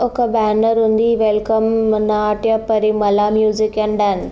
ఒక బ్యానర్ ఉంది welcome Natyaparimala music and dance --